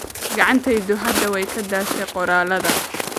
Gacantaydu hadda way ka daashay qoraalka